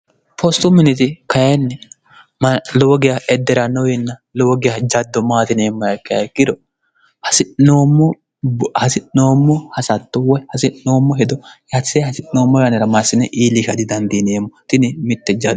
poostu miniti kayinni lowogiya edderannowinna lowogiya jaddo maatineemmo hakka hekkiro hasi'noommo hasatto woy hasi'noommo hedo yatise hasi'noommo yaanira maysine iilika didandiiniyemmo ini mitte jao